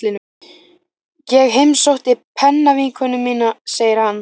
Ég heimsótti pennavinkonu mína, segir hann.